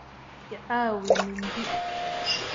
I caawi mindi.